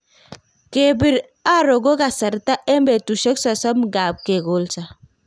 Kepir aro ko kasarta eng' petushek sosom ngap ke kolso